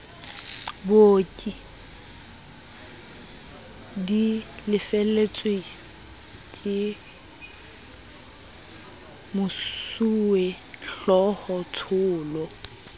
booki di lefelletswe kemosuwehlooho tsholo